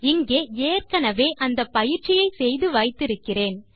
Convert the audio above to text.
இங்கே ஏற்கெனெவே அந்த பயிற்சியை செய்து வைத்து இருக்கிறேன்